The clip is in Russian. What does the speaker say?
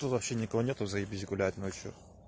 то вообще никого нету заебись гулять ночью